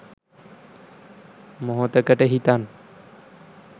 මොහොතකට හිතන්න